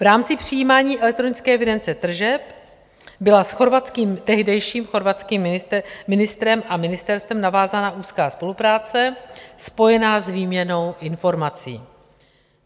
V rámci přijímání elektronické evidence tržeb byla s tehdejším chorvatským ministrem a ministerstvem navázána úzká spolupráce spojená s výměnou informací.